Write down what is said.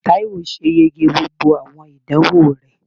Taiwo ṣe ìyege gbógbó awọn idánwo rẹ